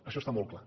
això està molt clar